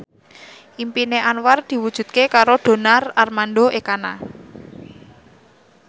impine Anwar diwujudke karo Donar Armando Ekana